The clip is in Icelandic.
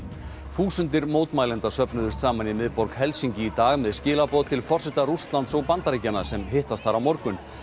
þúsundir mótmælenda söfnuðust saman í miðborg Helsinki í dag með skilaboð til forseta Rússlands og Bandaríkjanna sem hittast þar á morgun